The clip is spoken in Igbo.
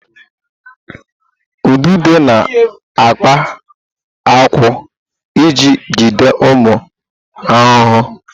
Ududo na-akpa ákwà iji jide ụmụ ahụhụ.